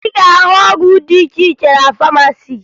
Ị ga-ahụ ọgwụ dị iche iche na famasi